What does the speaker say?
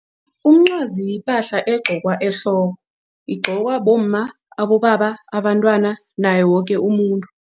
Umncwazi yipahla egqokwa ehloko igqokwa bomma, abobaba, abantwana, naye woke umuntu.